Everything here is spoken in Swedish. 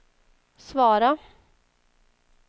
svara